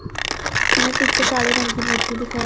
हमें पीछे काले रंग की मूर्ति दिखाएं--